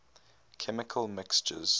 chemical mixtures